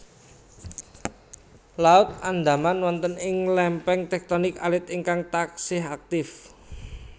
Laut Andaman wonten ing lémpéng téktonik alit ingkang taksih aktif